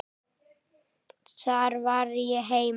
Þar var ég heima.